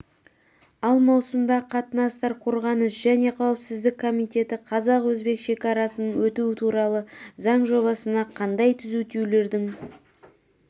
ал маусымда қатынастар қорғаныс және қауіпсіздік комитеті қазақ-өзбек шакарасынан өту туралы заң жобасына қандай түзетулердің